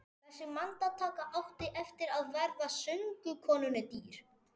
Þessi myndataka átti eftir að verða söngkonunni dýr.